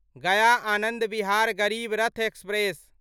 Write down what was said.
Gaya Anand Vihar Garib Rath express